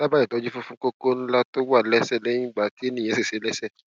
dábàá ìtọjú fún fún kókó ńlá tó wà lẹsẹ lẹyìn tí ènìyàn ṣèṣe lẹsẹ